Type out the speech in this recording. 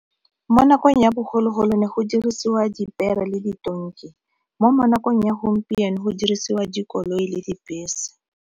Mo nakong ya bogologolo ne go dirisiwa dipere le ditonki mo mo nakong ya gompieno go dirisiwa dikoloi le dibese.